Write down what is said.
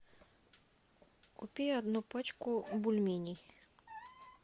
купи одну пачку бульменей